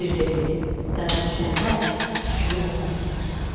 Şir dedi: Dara düşəndə tükümü oda tutarsan.